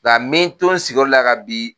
n be n to n sigiyɔrɔ la yan ka bi